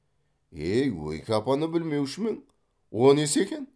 е ойке апаны білмеушімең о несі екен